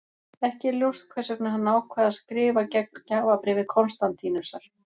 Ekki er ljóst hvers vegna hann ákvað að skrifa gegn gjafabréfi Konstantínusar.